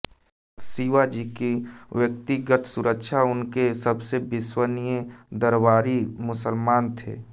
शिवाजी की व्यक्तिगत सुरक्षा उनके सबसे विश्वसनीय दरबारी मुसलमान थे